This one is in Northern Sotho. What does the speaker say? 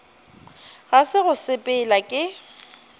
ga se go sepela ke